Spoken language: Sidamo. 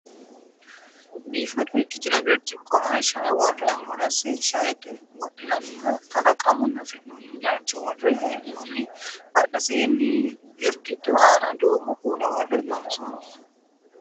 biifado ikitino birciqqora shae worre mulese shaete wodhinanniha kalaqamunni afi'noonni laalcho worre hee'noonni badheseenni girgidu aana duumo kuula worre loonsoonni